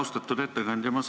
Austatud ettekandja!